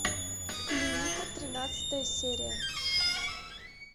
клиника тринадцатая серия